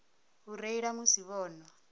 u reila musi vho nwa